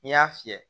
N'i y'a fiyɛ